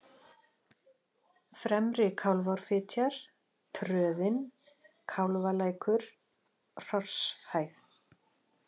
Fremri-Kálfárfitjar, Tröðin, Kálfalækur, Hrosshæð